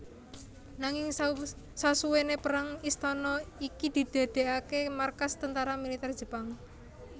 Nanging sasuwene perang istana iki didadekake markas tentara militer Jepang